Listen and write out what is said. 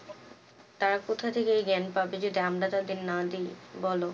তারা কোথা থেকে জ্ঞান পাবে? যদি আমরা তাদেরকে না দিয়, বল?